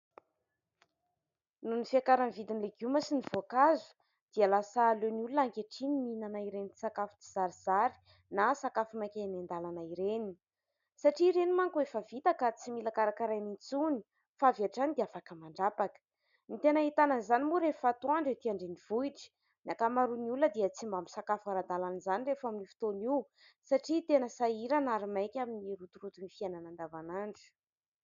Nohon'ny fiakaran'ny vidin'ny legioma sy ny voankazo dia lasa aleon'ny olona ankehitriny ny mihinana ireny sakafo tsy zarizary na sakafo maika eny an-dàlana ireny satria ireny manko efa vita ka tsy mila karakaraina intsony fa avy hatrany dia afaka mandrapaka. Ny tena ahitana an'izany moa rehefa atoandro etỳ an-drenivohitra, ny ankamaroan'ny olona dia tsy mba misakafo ara-dalàna izany rehefa amin'io fotoana io satria tena sahirana ary maika amin'ny rotoroton'ny fiainana andavan'andro.